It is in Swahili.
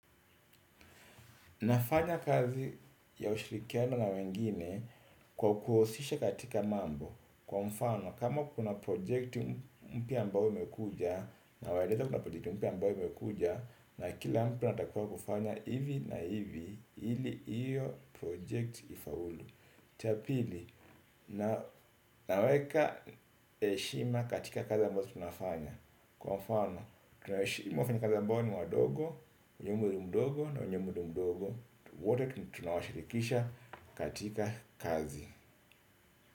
Nafanya kazi ya ushirikiano na wengine kuwahusisha katika mambo. Kwa mfano, kama kuna project mpya ambayo imekuja, nawaeleza kuna project mpya ambayo imekuja, na kila mtu anatakiwa kufanya hivi na hivi, ili hiyo project ifaulu. Cha pili, naweka heshima katika kazi ambayo tunafanya. Kwa mfano, tunaheshimu wafanyakazi ambao ni wadogo, wenye umri mdogo na wenye umri mdogo wote tunawashirikisha katika kazi.